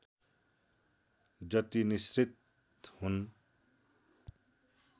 जति निसृत हुन्